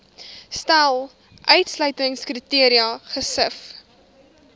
stel uitsluitingskriteria gesif